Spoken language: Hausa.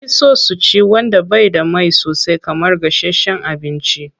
An fi so su ci wanda bai da mai sosai kamar gashasshen abinci.